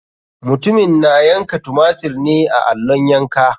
Mutumin na yanka tumatir ne a allon yanka.